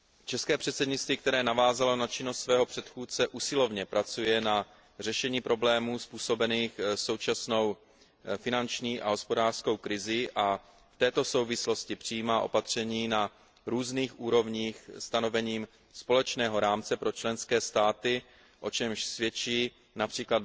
České předsednictví, které navázalo na činnost svého předchůdce, usilovně pracuje na řešení problémů způsobených současnou finanční a hospodářskou krizí a v této souvislosti přijímá opatření na různých úrovních stanovením společného rámce pro členské státy, o čemž svědčí např.